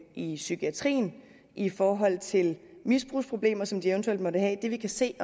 i psykiatrien og i forhold til de misbrugsproblemer som de eventuelt måtte have det vi kan se i